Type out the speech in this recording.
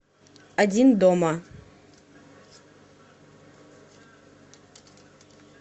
один дома